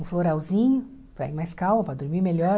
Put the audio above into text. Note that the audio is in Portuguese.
Um floralzinho, para ir mais calmo, para dormir melhor.